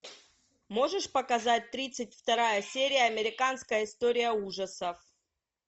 можешь показать тридцать вторая серия американская история ужасов